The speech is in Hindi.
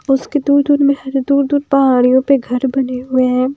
उसके दूर दूर में हर दूर दूर पहाड़ियों पे घर बने हुए हैं।